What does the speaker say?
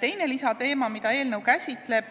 Teine lisateema, mida eelnõu käsitleb,